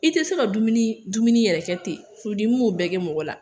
I tɛ se ka dumuni dumuni yɛrɛ kɛ ten furudimiu b'o bɛɛ kɛ mɔgɔ la